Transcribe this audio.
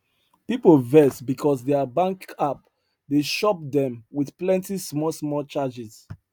people vex because their bank app dey shop them with plenty small small charges